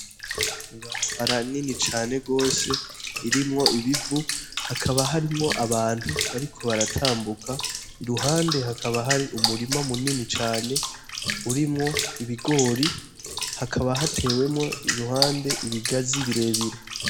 Ibarabara rinini cane gose ririmwo ibivu hakaba harimwo abantu bariko baratambuka iruhande hakaba har 'umurima munini cane, urimwo ibigori, hakaba hatewemwo iruhande ibigazi birebire.